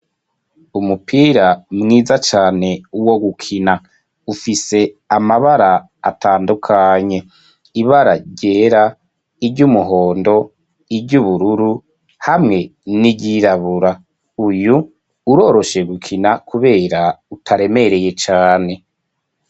Umupira mwiza cane wo gukina, ufise amabara atandukanye ibara ryera, iry'umuhondo ,iry'ubururu hamwe n'iryirabura. Uyu uroroshe gukina kubera utaremereye cane.